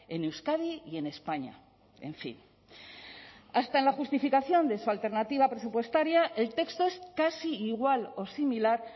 en euskadi y en españa en fin hasta en la justificación de su alternativa presupuestaria el texto es casi igual o similar